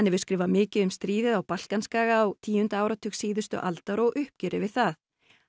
hefur skrifað mikið um stríðið á Balkanskaga á tíunda áratug síðustu aldar og uppgjörið við það